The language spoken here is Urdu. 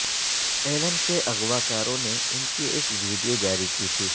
ایلن کے اغواکاروں نے ان کی ایک ویڈیو جاری کی تھی